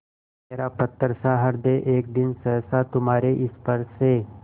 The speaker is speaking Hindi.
मेरा पत्थरसा हृदय एक दिन सहसा तुम्हारे स्पर्श से